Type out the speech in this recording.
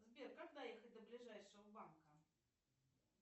сбер как доехать до ближайшего банка